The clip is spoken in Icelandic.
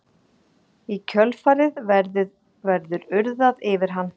Í kjölfarið verður urðað yfir hann.